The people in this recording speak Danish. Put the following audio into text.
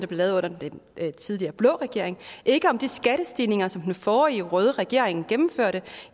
blev lavet under den tidligere blå regering ikke om de skattestigninger som den forrige røde regering gennemførte